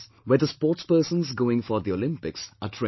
where the sportspersons going for the Olympics are trained